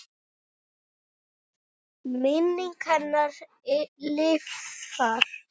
Minning hennar lifir.